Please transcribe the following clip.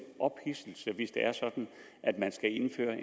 ophidselse hvis det er sådan at man skal indføre